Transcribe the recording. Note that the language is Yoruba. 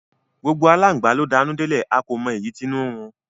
Gbogbo alangba lo d'anu delẹ, a ko mọ èyí t'inu nrun